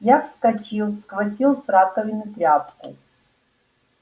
я вскочил схватил с раковины тряпку